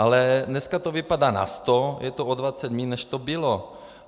Ale dneska to vypadá na 100, je to o 20 míň, než to bylo.